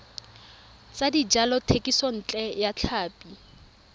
tsa dijalo thekisontle ya tlhapi